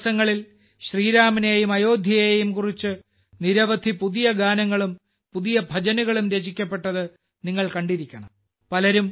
കഴിഞ്ഞ ദിവസങ്ങളിൽ ശ്രീരാമനെയും അയോധ്യയെയും കുറിച്ച് നിരവധി പുതിയ ഗാനങ്ങളും പുതിയ ഭജനുകളും രചിക്കപ്പെട്ടത് നിങ്ങൾ കണ്ടിരിക്കണം